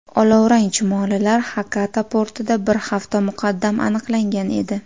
Olovrang chumolilar Xakata portida bir hafta muqaddam aniqlangan edi.